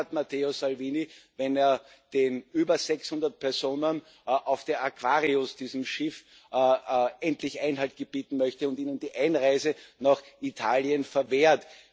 Und Recht hat Matteo Salvini, wenn er den über 600 Personen auf der Aquarius, diesem Schiff, endlich Einhalt gebieten möchte und ihnen die Einreise nach Italien verwehrt.